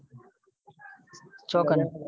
ચોકન